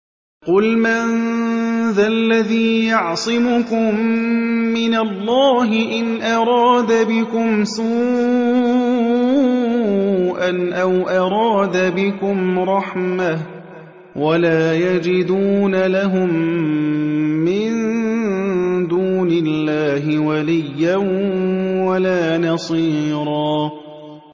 قُلْ مَن ذَا الَّذِي يَعْصِمُكُم مِّنَ اللَّهِ إِنْ أَرَادَ بِكُمْ سُوءًا أَوْ أَرَادَ بِكُمْ رَحْمَةً ۚ وَلَا يَجِدُونَ لَهُم مِّن دُونِ اللَّهِ وَلِيًّا وَلَا نَصِيرًا